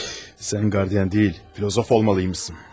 Sən qardian deyil, filosof olmalısan.